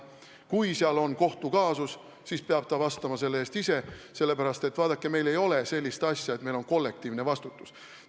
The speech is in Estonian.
Kui seal on kohtukaasus, siis peab ta vastutama selle eest ise, sellepärast et, vaadake, meil ei ole sellist asja nagu kollektiivne vastutus.